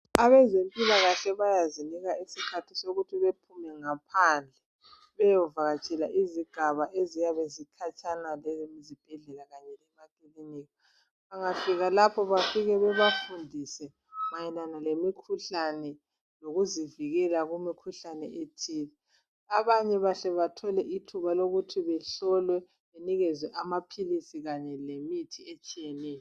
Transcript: Abezempilakahle bayazinika isikhathi sokuthi bephume ngaphandle bayovakatshela izigaba eziyabe zikhatshana lezibhedlela lamakilinika bangafika lapho bafika babafundise mayelana lemikhuhlane kanye lokuzivikela kumikhuhlane ethile. Abanye batsho bathole ithuba lokuthi bahlolwe babanikezwe amaphilisi kanye lemithi etshiyeneyo.